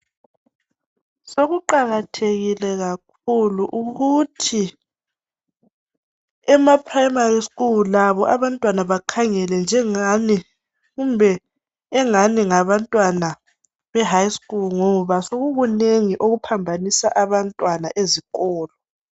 Sekuqakathekile kakhulu ukuthi emaprimary school labo abantwana bakhangele njengani. Kumbe engani ngabantwana behigh school ngoba sekukunengi okuphambanisa abantwana ezikolo.